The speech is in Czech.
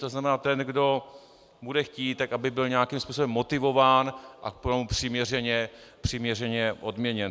To znamená, ten, kdo bude chtít, aby byl nějakým způsobem motivován a k tomu přiměřeně odměněn.